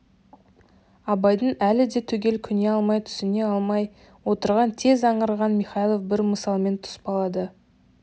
абайдың әлі де түгел көне алмай түсіне алмай отырғанын тез аңғарған михайлов бір мысалмен тұспалдады